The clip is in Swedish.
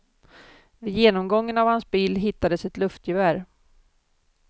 Vid genomgången av hans bil hittades ett luftgevär.